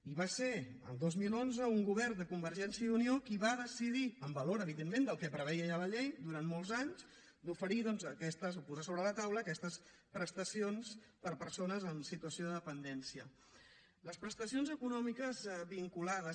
i va ser el dos mil onze un govern de convergència i unió qui va decidir amb valor evidentment del que preveia ja la llei durant molts anys d’oferir doncs de posar sobre la taula aquestes prestacions per a persones en situació de dependència les prestacions econòmiques vinculades